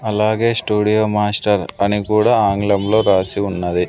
అలాగే studio master అని కుడా ఆంగ్లం లో రాసి ఉన్నది.